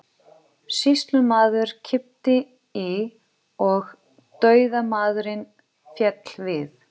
Sýslumaður kippti í og dauðamaðurinn féll við.